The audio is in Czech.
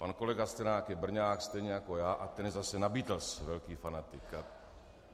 Pan kolega Sklenák je Brňák stejně jako já a ten je zase na Beatles velký fanatik.